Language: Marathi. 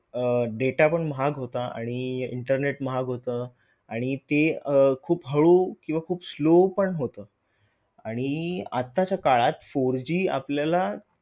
अह data पण महाग होता आणि internet महाग होत आणि ते अह खूप हळू किंवा खूप slow पण होत. आणि आत्ताच्या काळात four G आपल्याला